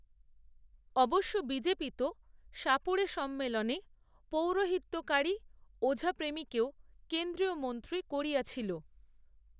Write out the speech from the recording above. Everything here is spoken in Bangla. অবশ্য বিজেপি তো, সাপুড়েসম্মেলনে, পৌরোহিত্যকারী, ওঝাপ্রেমীকেও কেন্দ্রীয় মন্ত্রী করিয়াছিল